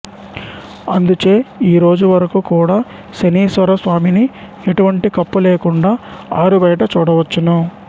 అందుచే ఈరోజు వరకు కూడా శనీశ్వర స్వామిని ఎటువంటి కప్పు లేకుండా ఆరు బయట చూడవచ్చును